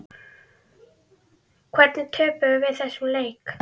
Hvernig töpuðum við þessum leik?